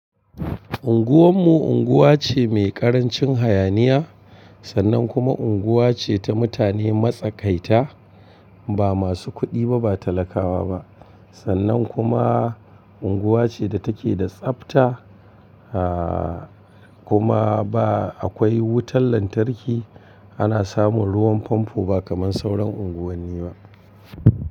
Unguwar mu unguwa ce mai ƙarancin hayaniya sannan kuma unguwa ce ta mutane matsakaita ba masu kuɗi ba, ba talakawa ba. Sannan kuma unguwa ce da take da tsabta a kuma ba akwai wutar lantarki ana samun ruwan famfo ba kamar sauran unguwanni ba.